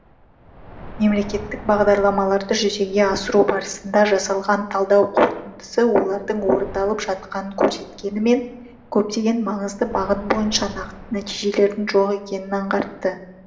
мемлекеттік бағдарламаларды жүзеге асыру барысында жасалған талдау қорытындысы олардың орындалып жатқанын көрсеткенімен көптеген маңызды бағыт бойынша нақты нәтижелердің жоқ екенін аңғартты